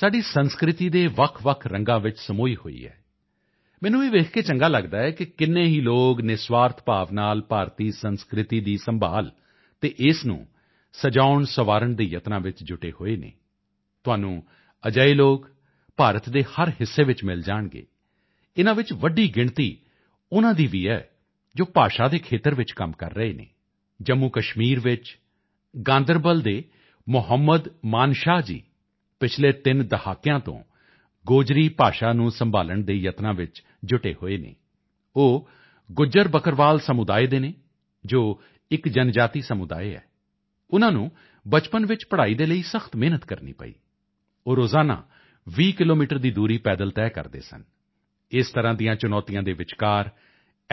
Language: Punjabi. ਸਾਡੀ ਸੰਸਕ੍ਰਿਤੀ ਦੇ ਵੱਖਵੱਖ ਰੰਗਾਂ ਵਿੱਚ ਵੀ ਸਮੂਹੀ ਹੋਈ ਹੈ ਮੈਨੂੰ ਇਹ ਵੇਖ ਕੇ ਚੰਗਾ ਲੱਗਦਾ ਹੈ ਕਿ ਕਿੰਨੇ ਹੀ ਲੋਕ ਨਿਰਸਵਾਰਥ ਭਾਵ ਨਾਲ ਭਾਰਤੀ ਸੰਸਕ੍ਰਿਤੀ ਦੀ ਸੰਭਾਲ ਅਤੇ ਇਸ ਨੂੰ ਸਜਾਉਣਸੰਵਾਰਨ ਦੇ ਯਤਨਾਂ ਵਿੱਚ ਜੁਟੇ ਹਨ ਤੁਹਾਨੂੰ ਅਜਿਹੇ ਲੋਕ ਭਾਰਤ ਦੇ ਹਰ ਹਿੱਸੇ ਵਿੱਚ ਮਿਲ ਜਾਣਗੇ ਇਨ੍ਹਾਂ ਵਿੱਚ ਵੱਡੀ ਗਿਣਤੀ ਉਨ੍ਹਾਂ ਦੀ ਵੀ ਹੈ ਜੋ ਭਾਸ਼ਾ ਦੇ ਖੇਤਰ ਵਿੱਚ ਕੰਮ ਕਰ ਰਹੇ ਹਨ ਜੰਮੂਕਸ਼ਮੀਰ ਵਿੱਚ ਗਾਂਦਰਬਲ ਦੇ ਮੁਹੰਮਦ ਮਾਨਸ਼ਾਹ ਜੀ ਪਿਛਲੇ ਤਿੰਨ ਦਹਾਕਿਆਂ ਤੋਂ ਗੋਜਰੀ ਭਾਸ਼ਾ ਨੂੰ ਸੰਭਾਲਣ ਦੇ ਯਤਨਾਂ ਵਿੱਚ ਜੁਟੇ ਹੋਏ ਹਨ ਉਹ ਗੁੱਜਰ ਬੱਕਰਵਾਲ ਸਮੁਦਾਇ ਦੇ ਹਨ ਜੋ ਇਕ ਜਨਜਾਤੀ ਸਮੁਦਾਇ ਹੈ ਉਨ੍ਹਾਂ ਨੂੰ ਬਚਪਨ ਵਿੱਚ ਪੜ੍ਹਾਈ ਦੇ ਲਈ ਸਖਤ ਮਿਹਨਤ ਕਰਨੀ ਪਈ ਉਹ ਰੋਜ਼ਾਨਾ 20 ਕਿਲੋਮੀਟਰ ਦੀ ਦੂਰੀ ਪੈਦਲ ਤੈਅ ਕਰਦੇ ਸਨ ਇਸ ਤਰ੍ਹਾਂ ਦੀਆਂ ਚੁਣੌਤੀਆਂ ਦੇ ਵਿਚਕਾਰ ਐੱਮ